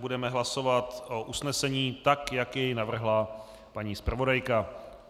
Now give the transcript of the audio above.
Budeme hlasovat o usnesení, tak jak jej navrhla paní zpravodajka.